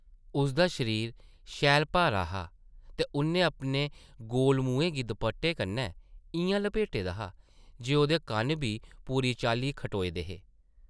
उसदा शरीर शैल भारा हा ते उʼन्नै अपने गोल मुहैं गी दपट्टे कन्नै इʼयां लपेटे दा हा जे ओह्दे कन्न बी पूरी चाल्ली खटोए दे हे ।